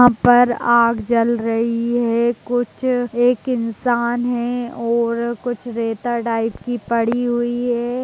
यहां पर आग जल रही है कुछ एक इंसान है और कुछ रेता टाइप की पड़ी हुई है।